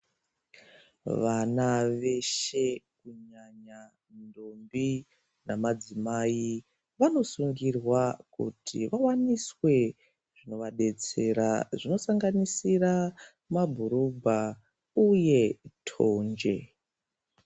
Vana veshe kunyanya ndombi nemadzimai vanosungirwa kuti vawaniswe zvinovadetsera zvinosanganisira mabhurugwa uye tonje.